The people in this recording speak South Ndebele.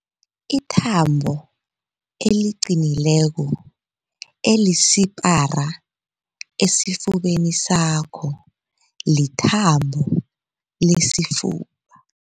Ithambo eliqinileko elisipara esifubeni sakho lithambo lesifuba.